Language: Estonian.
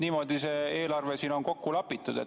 Niimoodi on see eelarve kokku lapitud.